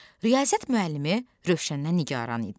Riyaziyyat müəllimi Rövşəndən nigaran idi.